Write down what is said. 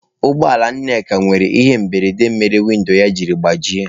Ụgbọ ala Nneka nwere ihe mberede mere windo ya jiri gbajie.